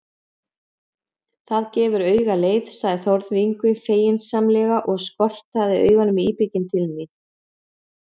Það gefur auga leið, sagði Þórður Yngvi feginsamlega og skotraði augunum íbygginn til mín.